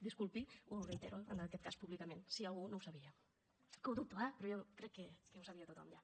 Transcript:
disculpi ho reitero en aquest cas públicament si algú no ho sabia que ho dubto eh però jo crec que ho sabia tothom ja